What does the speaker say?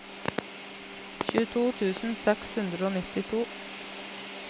tjueto tusen seks hundre og nittito